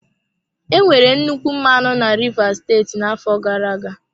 Enwere nnukwu mmanụ na rivers steeti n'afọ gara-aga.